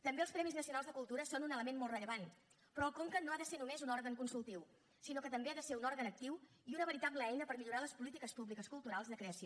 també els premis nacionals de cultura són un element molt rellevant però el conca no ha de ser només un òrgan consultiu sinó que també ha de ser un òrgan actiu i una veritable eina per millorar les polítiques públiques culturals de creació